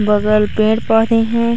बगल पेड़ पौधे हैं।